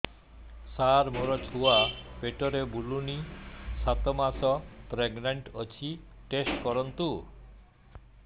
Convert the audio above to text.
ସାର ମୋର ଛୁଆ ପେଟରେ ବୁଲୁନି ସାତ ମାସ ପ୍ରେଗନାଂଟ ଅଛି ଟେଷ୍ଟ କରନ୍ତୁ